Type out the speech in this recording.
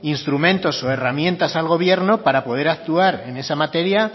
instrumentos o herramientas al gobierno para poder actuar en esa materia